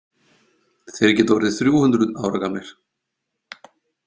Þeir geta orðið þrjú hundruð ára gamlir.